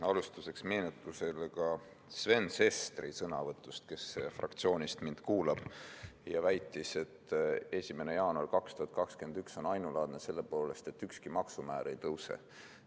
Alustuseks meenutus Sven Sesteri sõnavõtust, kes fraktsioonist mind kuulab ja kes väitis, et 1. jaanuar 2021 on ainulaadne selle poolest, et ükski maksumäär ei tõuse.